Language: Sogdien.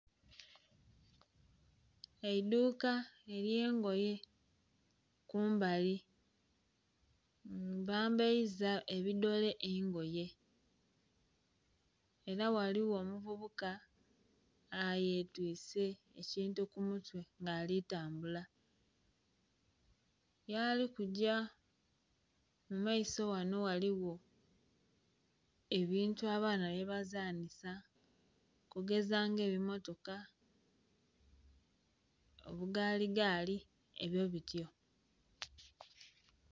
Eiduuka elye ngoye kumbali bambaiza ebidole engoye era ghaliwo omuvubuka ayetwise ekintu kumutwe nga ali kutambula yali kugya mumaiso ghano ghaliwo ebintu abaana byebazanisa okugeza nga ebimotoka, obugaaligaali ebyo bityo